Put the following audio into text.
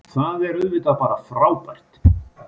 Það er auðvitað bara frábært